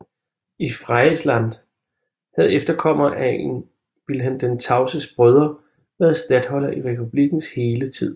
I Friesland havde efterkommerne af en af Vilhelm den Tavses brødre været statholder i republikkens hele tid